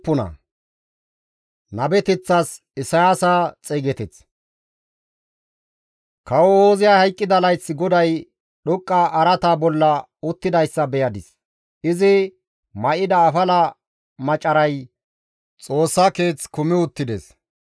Kawo Ooziyay hayqqida layth GODAY dhoqqa araata bolla uttidayssa beyadis; izi may7ida afala macaray Xoossa Keeth kumi uttides.